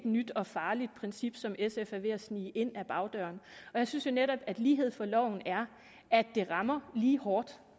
nyt og farligt princip som sf er ved at snige ind ad bagdøren jeg synes jo netop at lighed for loven er at det rammer lige hårdt